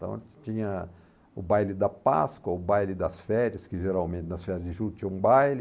Então tinha o baile da Páscoa, o baile das férias, que geralmente nas férias de julho tinha um baile.